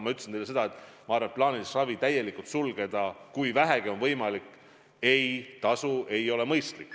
Ma ütlesin, et plaanilist ravi täielikult sulgeda, kui vähegi on võimalik, ei ole mõistlik.